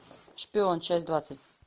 шпион часть двадцать